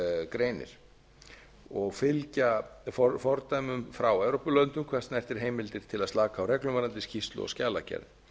greinir og fylgja fordæmum frá evrópulöndum hvað snertir heimildir til að slaka á reglum varðandi skýrslu og skjalagerð